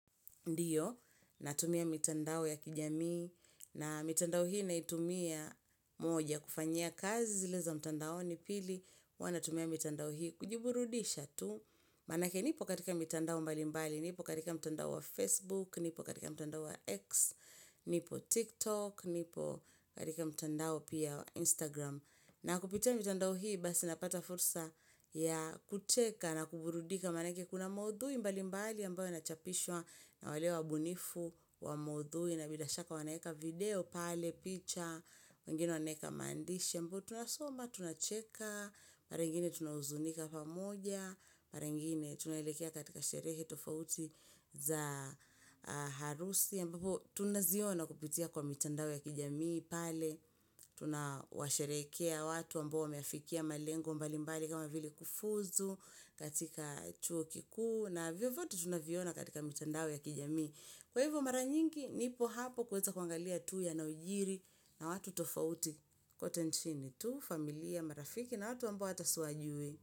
Ndiyo, natumia mitandao ya kijamii na mitandao hii naitumia; moja, kufanya kazi zileza mitandaoni. Pili, huwa natumia mitandao hii kujiburudisha tu Maanake nipo katika mitandao mbalimbali. Nipo katika mtandao wa Facebook, nipo katika mitandao wa X, nipo TikTok, nipo katika mtandao pia wa Instagram. Na kupitia mitandao hii basi napata fursa ya kucheka na kuburudika maanake kuna maudhui mbalimbali ambayo yanachapishwa na wale wa ubunifu wa maudhui na bila shaka wanaweka video pale, picha, wengine wanaweka maandishi. Ambayo tunasoma, tunacheka, mara nyingine tunahuzunika pamoja, mara nyigine tunaelekea katika sherehe tofauti za harusi ambapo tunaziona kupitia kwa mitandao ya kijamii pale tunawasherehekea watu ambao wameafikia malengo mbalimbali kama vile kufuzu katika chuo kikuu na vile vyote tunaviona katika mitandao ya kijamii. Kwa hivyo mara nyingi, nipo hapo kuweza kuangalia tu yanayojiri na watu tofauti kote nchini tu, familia, marafiki na watu ambao hata siwajui.